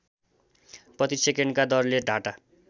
प्रतिसेकेन्डका दरले डाटा